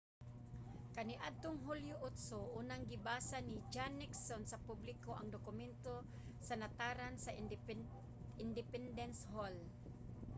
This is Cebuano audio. kaniadtong hulyo 8 unang gibasa ni john nixon sa publiko ang dokumento sa nataran sa independence hall